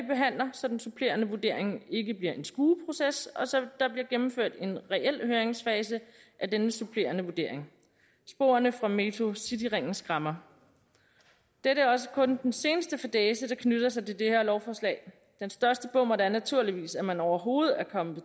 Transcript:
så den supplerende vurdering ikke bliver en skueproces og så der bliver gennemført en reel høringsfase af denne supplerende vurdering sporene fra metrocityringen skræmmer dette er også kun den seneste fadæse der knytter sig til det her lovforslag den største bommert er naturligvis at man overhovedet er kommet på